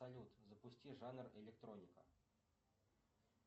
салют запусти жанр электроника